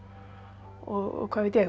og hvað veit ég